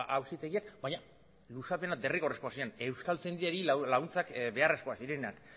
auzitegiak baina luzapena derrigorrezkoak ziren euskaltzaindiari laguntzak beharrezkoak zirenak